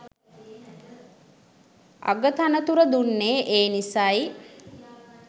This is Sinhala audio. අගතනතුර දුන්නේ ඒ නිසයි.